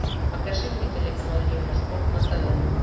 покажи мне телеканал евроспорт на тв